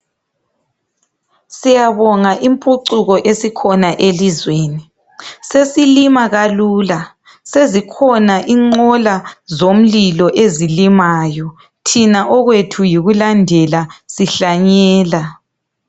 Siyabonga impuchuko esikhona elizweni. Sesilima kalula ,sezikhona inqola zomlilo ezilimayo, thina okwethu yikulandela sihlanyela.